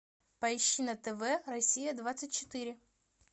поищи на тв россия двадцать четыре